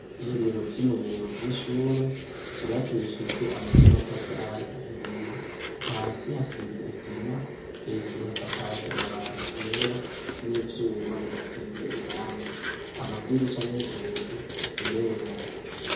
Ibiro vy'umuyobozi w'ishure vibakishijwe amabi n'amatafari ahiye hasi hasize isima hejuru hasakaje amabati yera n'ivyuma bidasize irangi amadirisha n'inzugi birera.